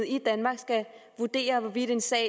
i danmark skal vurdere hvorvidt en sag